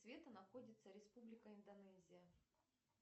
света находится республика индонезия